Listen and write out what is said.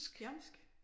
Jamsk